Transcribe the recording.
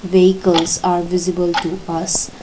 vehicles are visible to us.